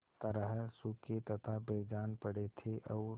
तरह सूखे तथा बेजान पड़े थे और